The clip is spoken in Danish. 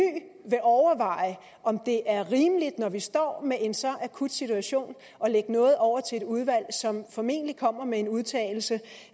vil overveje om det er rimeligt når vi står med en så akut situation at lægge noget over til et udvalg som formentlig kommer med en udtalelse